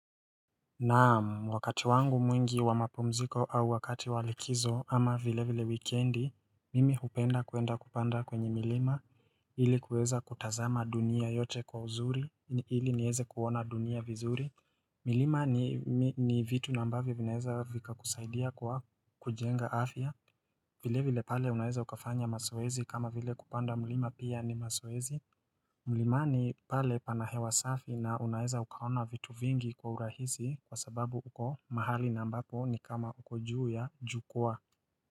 Naam, wakati wangu mwingi wa mapumziko au wakati wa likizo ama vile vile wikendi Mimi hupenda kwenda kupanda kwenye milima ili kuweza kutazama dunia yote kwa uzuri ili nieze kuona dunia vizuri milima ni vitu na ambavyo vinaeza vikakusaidia kwa kujenga afya vile vile pale unaeza ukafanya mazoezi kama vile kupanda milima pia ni mazoezi milimani pale pana hewa safi na unaeza ukaona vitu vingi kwa urahisi kwa sababu uko mahali na ambapo ni kama uko juu ya jukwaa.